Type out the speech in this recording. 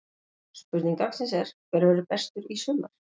Spurning dagsins er: Hver verður bestur í sumar?